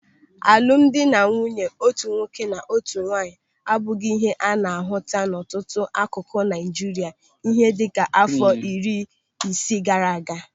Alụmdi na nwunye otu nwoke na otu nwaanyị abụghị ihe a na-ahụta n'ọtụtụ akụkụ Naịjiria ihe dịka àfọ iri ise gaara aga.